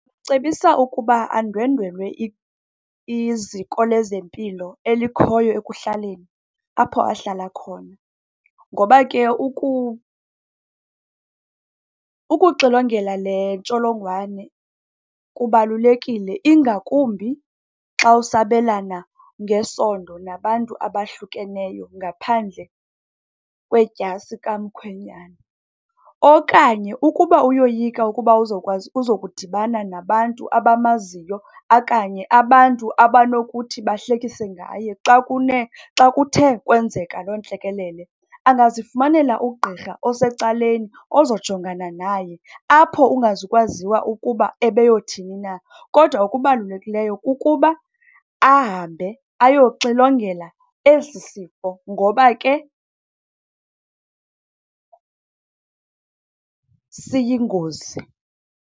Cebisa ukuba andwendwele iziko lezempilo elikhoyo ekuhlaleni apho ahlala khona. Ngoba ke ukuxilongela le ntsholongwane kubalulekile, ingakumbi xa usabelana ngesondo nabantu abahlukeneyo ngaphandle kwedyasi kamkhwenyana. Okanye ukuba uyoyika ukuba uzowukwazi uzokudibana nabantu abamaziyo okanye abantu abanokuthi bahlekise ngaye xa xa kuthe kwenzeka loo ntlekelele, angazifumanela ugqirha osecaleni ozojongana naye apho ungazukwaziwa ukuba ebeyothini na. Kodwa okubalulekileyo kukuba ahambe ayoxilongela esi sifo ngoba ke siyingozi.